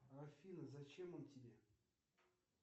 афина зачем он тебе